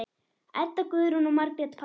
Edda Guðrún og Margrét Pála.